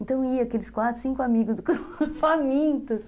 Então, ia aqueles quatro, cinco amigos famintos.